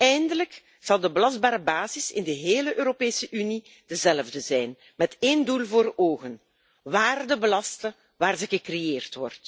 Eindelijk zal de belastbare basis in de hele Europese Unie dezelfde zijn, met één doel voor ogen waarde belasten waar ze wordt gecreëerd.